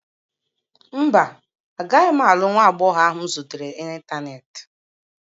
Mba, agaghị m alụ nwa agbọghọ ahụ m zutere n'Ịntanet.